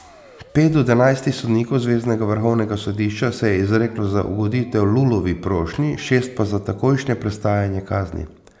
Pet od enajstih sodnikov zveznega vrhovnega sodišča se je izreklo za ugoditev Lulovi prošnji, šest pa za takojšnje prestajanje kazni.